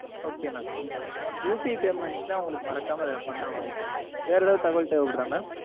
okay mam UPI payments லாம் உங்களுக்கு மறக்காம அதுல பண்ண வாய்ப்பு இருக்கு mam வேற ஏதும் தகவல் தேவபடுதா mam